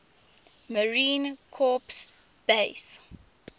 marine corps base